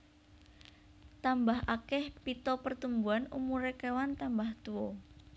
Tambah akeh pita pertumbuhan umuré kewan tambah tuwa